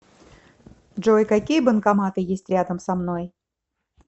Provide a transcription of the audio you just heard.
джой какие банкоматы есть рядом со мной